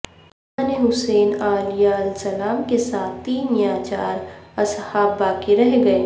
امام حسین علیہ السلام کے ساتھ تین یا چار اصحاب باقی رہ گئے